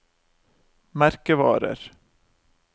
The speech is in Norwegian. merkevarer